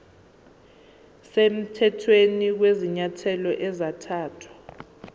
semthethweni kwezinyathelo ezathathwa